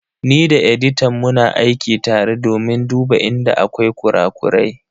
Ni da editan muna aiki tare domin duba inda akwai kura-kurai.